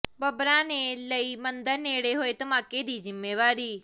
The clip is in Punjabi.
ਬੱਬਰਾਂ ਨੇ ਲਈ ਮੰਦਰ ਨੇੜੇ ਹੋਏ ਧਮਾਕੇ ਦੀ ਜ਼ਿੰਮੇਵਾਰੀ